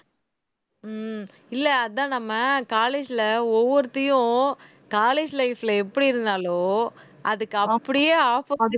ஆஹ் இல்லை அதான் நம்ம college ல ஒவ்வொருத்தியும் college life ல எப்படி இருந்தாளோ அதுக்கு அப்படியே opposite